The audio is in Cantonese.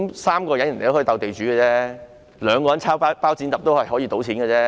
3人可以"鬥地主"遊戲，兩人可以猜"包、剪、揼"，一樣可以賭錢，對嗎？